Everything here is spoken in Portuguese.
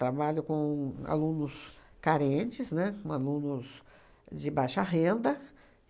Trabalho com alunos carentes, né, com alunos de baixa renda.